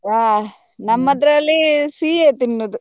ಹ ನಮ್ಮದ್ರಲ್ಲಿ ಸಿಹಿಯೇ ತಿನ್ನುದು.